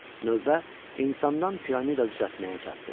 Növbə insandan piramida düzəltməyə çatdı.